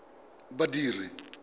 badiri